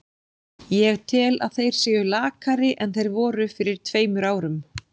Ég tel að þeir séu lakari en þeir voru fyrir tveimur árum.